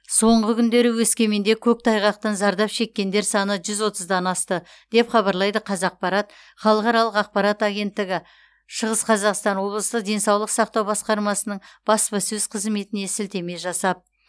соңғы күндері өскеменде көктайғақтан зардап шеккендер саны жүз отыздан асты деп хабарлайды қазақпарат халықаралық ақпарат агенттігі шығыс қазақстан облысы денсаулық сақтау басқармасының баспасөз қызметіне сілтеме жасап